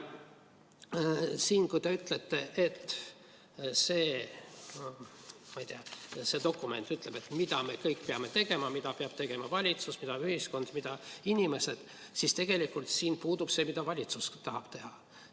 Kui see dokument ütleb, mida me kõik peame tegema, st mida peab tegema valitsus, mida ühiskond ja mida inimesed, siis tegelikult siin puudub see, mida valitsus tahab teha.